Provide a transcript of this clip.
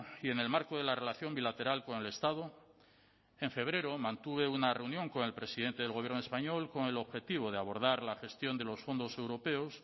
y en el marco de la relación bilateral con el estado en febrero mantuve una reunión con el presidente del gobierno español con el objetivo de abordar la gestión de los fondos europeos